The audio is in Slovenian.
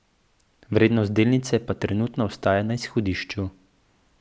Vrednost delnice pa trenutno ostaja na izhodišču.